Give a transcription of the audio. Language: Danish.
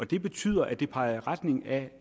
det betyder at det peger i retning af